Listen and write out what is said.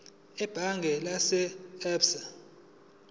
ebhange lase absa